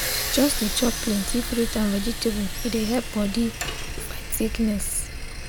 just they chop plenty fruit and vegetable e dey help body fight sickness.